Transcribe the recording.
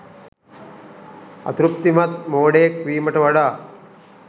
අතෘප්තිමත් මෝඩයෙක් වීමට වඩා